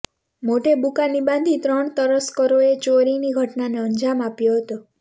મોઢે બુકાની બાંધી ત્રણ તસ્કરોએ ચોરીની ઘટનાને અંજામ આપ્યો હતો